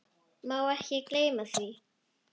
Má ekki gleyma því.